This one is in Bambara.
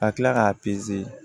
Ka kila k'a